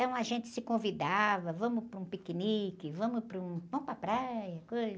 Então, a gente se convidava, vamos para um piquenique, vamos para um, vamos para a praia, coisa,